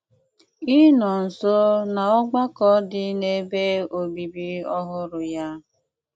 ịnọ̀ nso n’ọ̀gbàkọ̀ dị n’ebe obibì ọhụrụ̀ ya.